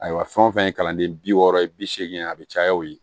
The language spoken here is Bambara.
Ayiwa fɛn o fɛn ye kalanden bi wɔɔrɔ ye bi seegin a bɛ caya o ye